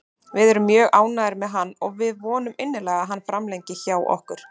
Við erum mjög ánægðir með hann og við vonum innilega að hann framlengi hjá okkur.